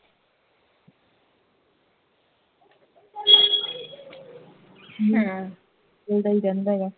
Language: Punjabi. ਹੂ